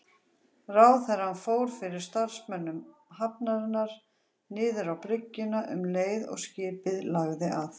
Ráðherrann fór fyrir starfsmönnum hafnarinnar niður á bryggjuna um leið og skipið lagði að.